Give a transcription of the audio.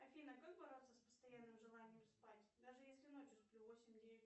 афина как бороться с постоянным желанием спать даже если ночью сплю восемь девять